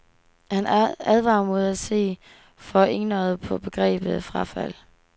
Han advarer mod at se for enøjet på begrebet frafald.